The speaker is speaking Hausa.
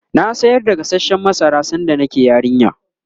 na sayar da gasashen masara sanda nake yarinya